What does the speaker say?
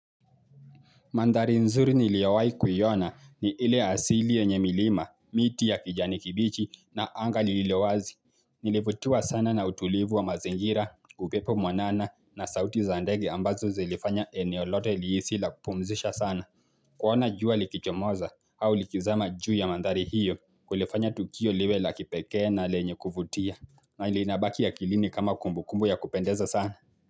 Mandhari nzuri niliowai kuiona ni ile ya asili yenye milima, miti ya kijani kibichi na anga lililowazi. Nilivutiwa sana na utulivu wa mazingira, upepo mwanana na sauti za ndege ambazo zilifanya eneo lote lihisi la kupumzisha sana. Kuona jua likichomoza au likizama juu ya mandhari hiyo kulifanya tukio liwe la kipekee na lenye kuvutia na ilinabaki akilini kama kumbukumbu ya kupendeza sana.